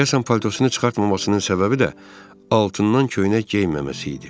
Deyəsən paltosunu çıxartmamasının səbəbi də altından köynək geyməməsi idi.